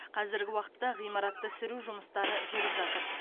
қазіргі уақытта ғимаратты сүру жұмыстары жүріп жатыр